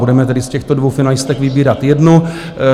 Budeme tedy z těchto dvou finalistek vybírat jednu.